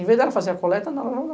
Em vez dela fazer a coleta, não...